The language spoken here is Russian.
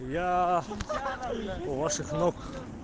я у ваших ног